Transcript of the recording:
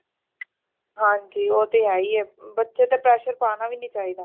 ਹਾਂਜੀ ਉਹ ਤੇ ਹਯੀ ਏ ਬੱਚੇ ਤੇ pressure ਪਾਣਾ ਵੀ ਨਹੀਂ ਚਾਹੀ ਦਾ